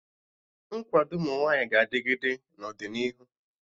Nkwado ụmụ nwaanyị ga-adịgịde n'ọdịnihu